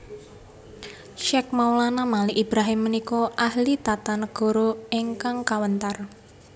Syekh Maulana Malik Ibrahim punika ahli tata nagara ingkang kawentar